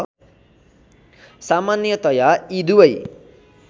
सामान्यतया यी दुबै